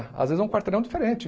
Às vezes é um quarteirão diferente.